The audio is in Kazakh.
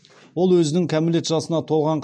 ол өзінің кәмелет жасына толған